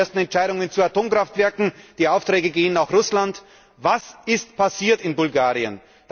Wir haben die ersten Entscheidungen zu Atomkraftwerken, die Aufträge gehen nach Russland. Was ist passiert in Bulgarien?